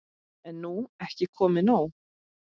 Er nú ekki komið nóg?